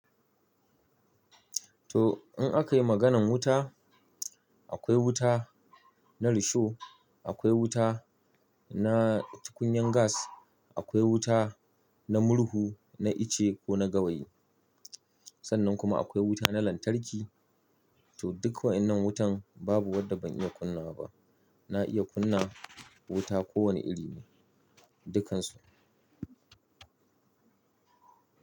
To in aka yi maganan wuta, akwai wuta na risho, akwai wuta na tukunyan gas, akwai wuta na murhu, na ice ko na gawayi. Sannan kuma akwai wuta na lantarki. To duk wayannan wutan babu wadda ban iya kunnawa ba. Na iya kunna wuta kowane iri ne, dukkansu.